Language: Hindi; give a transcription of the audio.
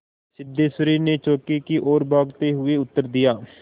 सिद्धेश्वरी ने चौके की ओर भागते हुए उत्तर दिया